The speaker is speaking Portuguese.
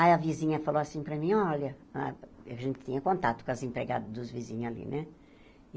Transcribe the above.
Aí a vizinha falou assim para mim, olha... A gente tinha contato com as empregadas dos vizinhos ali, né?